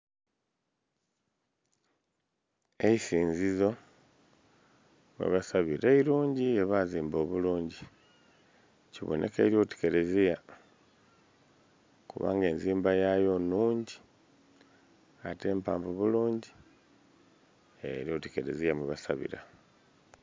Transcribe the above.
Eisinzizo webasabira eirungi yebazimba obulungi. Kibonekeira oti kereziya kubanga enzimba yayo nhungi ate mpanvu bulungi. Eryoti kereziya mwe basabira